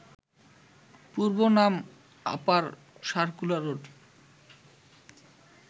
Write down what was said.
পূর্বনাম upper circular road